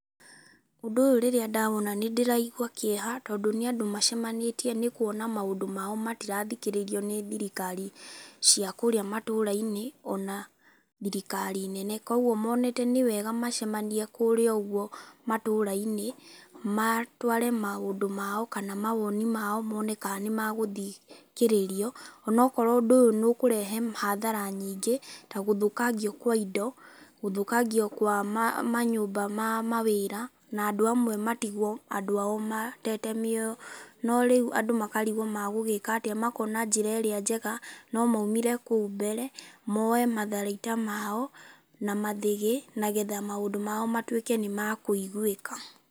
Ũndũ ũyũ rĩrĩa ndawona nĩ ndĩraigua kĩeha, tondũ nĩ andũ macemanĩtie nĩ kuona maũndũ mao matirathikĩrĩrio nĩ thirikari cia kũũrĩ matũũra-inĩ, ona thirikari nene. Koguo monete nĩ wega macemanie kũũrĩa ũguo matũũra-inĩ, matũare maũndũ mao, kana mawoni mao mone kana nĩ magũthikĩrĩrio. Onokorwo ũndũ ũyũ nĩ ũkũrehe hathara nyingĩ, ta gũthũkangio kwa indo, gũthũkangio kwa manyũmba ma mawĩra, na andũ amwe matigwo andũ ao matete mĩoyo. No rĩu andũ makarigwo magũgĩka atĩ, makona njĩra ĩrĩa njega, no maumire kũu mbere, moe matharaita mao, na mathĩgĩ, nagetha maũndũ mao matuĩke nĩ makũiguĩka.